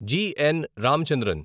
GN. Ramachandran